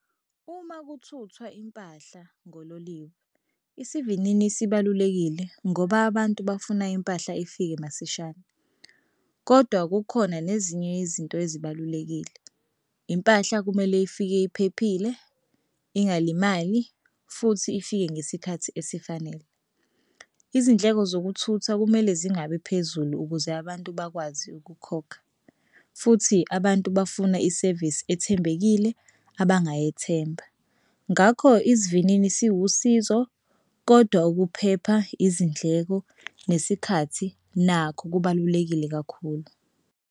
Uma kuthuthwa impahla ngololiwe isivinini sibalulekile ngoba abantu bafuna impahla ifike masishane kodwa kukhona nezinye yezinto ezibalulekile. Impahla kumele ifike iphephile, ingalimali futhi ifike ngesikhathi esifanele. Izindleko zokuthutha kumele zingabi phezulu ukuze abantu bakwazi ukukhokha futhi abantu bafuna isevisi ethembekile abangayethemba. Ngakho isivinini siwusizo kodwa ukuphepha izindleko nesikhathi nakho kubalulekile kakhulu.